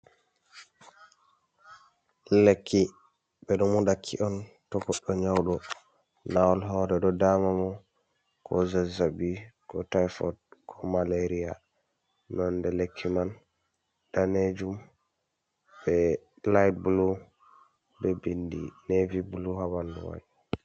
"Lekki" ɓeɗo moɗaki on to goɗdo nyauɗo lawal hore ɗo da mamo ko zazzaɓi iko tifod ko malaria nonde lekki man danejum be layit bulu be bindi nevi bulu ha ɓuɗu mai.